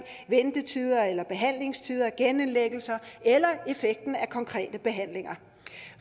ventetider eller behandlingstider genindlæggelser eller effekten af konkrete behandlinger